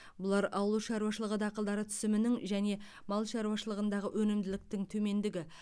бұлар ауыл шаруашылығы дақылдары түсімінің және мал шаруашылығындағы өнімділіктің төмендігі